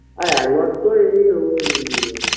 আর একবার তো এ ওই